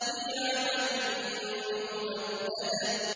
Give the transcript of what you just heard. فِي عَمَدٍ مُّمَدَّدَةٍ